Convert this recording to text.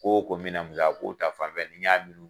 Ko o ko minan bil'a ko ta fanfɛ ni n y'a lulu